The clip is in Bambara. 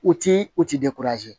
U ti u ti